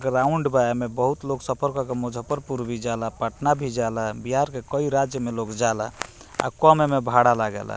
Ground बा एमे बहुत लोग सफर कर के मुजफ्फरपुर भी जाला पटना भी जाला बिहार के कई राज्य में लोग जाला और काम एमे भाड़ा लागेला।